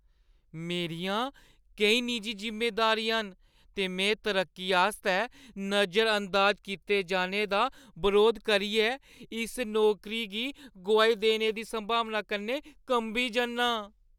मेरियां केईं निजी जिम्मेदारियां न ते में तरक्की आस्तै नजरअंदाज कीते जाने दा बरोध करियै इस नौकरी गी गोआई देने दी संभावना कन्नै कंबी जन्नां।